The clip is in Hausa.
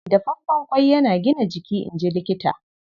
Dafaffen ƙwai yana gina jiki, in ji Likita.